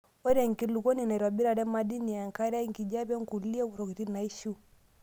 Ore enkulukuoni neitobirare madini, enkare, enkijiape okulie tokitin naishiu.